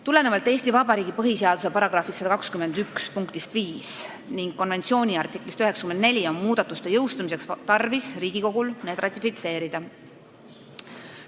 Tulenevalt Eesti Vabariigi põhiseaduse § 121 punktist 5 ning konventsiooni artiklist 94 on muudatuste jõustumiseks Riigikogul tarvis need ratifitseerida.